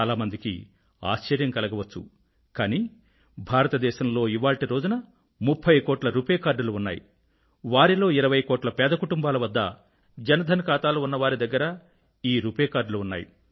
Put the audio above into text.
చాలామందికి ఆశ్చర్యం కలగవచ్చు కానీ భారతదేశంలో ఇవాళ్టి రోజున 30 కోట్ల రుపే కార్డులు ఉన్నాయి వారిలో 20 కోట్ల పేద కుటుంబాల వద్ద జన్ధన్ ఖాతాలు ఉన్నవారి దగ్గర ఈ రుపే కార్డ్ లు ఉన్నాయి